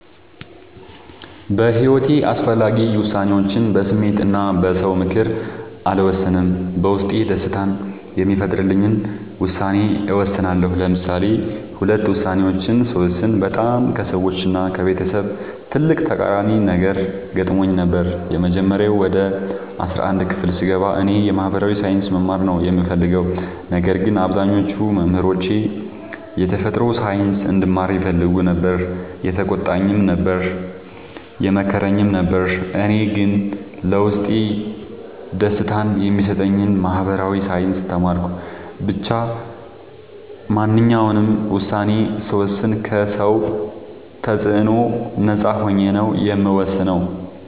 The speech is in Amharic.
በሒወቴ አስፈላጊ ወሳኔዎችን በስሜት እና በ ሰው ምክር አልወሰንም። በውስጤ ደስታን የሚፈጥርልኝን ውሳኔ እወስናለሁ። ለምሳሌ ሁለት ውሳኔዎችን ስወስን በጣም ከሰዎች እና ከቤተሰብ ትልቅ ተቃራኒ ነገር ገጥሞኝ ነበር። የመጀመሪያው ወደ አስራአንድ ክፍል ስገባ እኔ የ ማህበራዊ ሳይንስ መማር ነው የምፈልገው። ነገር ግን አብዛኞቹ መምህሮቼ የተፈጥሮ ሳይንስ እንድማር ይፈልጉ ነበር የተቆጣኝም ነበር የመከረኝም ነበር እኔ ግን ለውስጤ ደስታን የሚሰጠኝን ማህበራዊ ሳይንስ ተማርኩ። ብቻ ማንኛውንም ውሳኔ ስወስን ከ ሰው ተፅዕኖ ነፃ ሆኜ ነው የምወስነው።